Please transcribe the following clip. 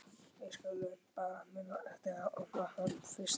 Við skulum bara muna eftir að opna hann fyrst!